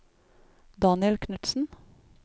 Daniel Knutsen